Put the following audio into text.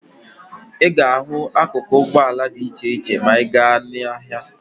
Ị ga-ahụ akuku ụgbọala dị iche iche ma ị ga n'ahịa.